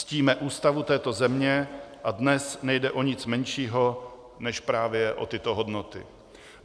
Ctíme Ústavu této země a dnes nejde o nic menšího než právě o tyto hodnoty.